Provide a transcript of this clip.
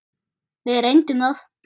Við reynum það.